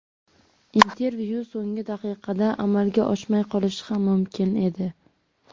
Intervyu so‘nggi daqiqada amalga oshmay qolishi ham mumkin edi.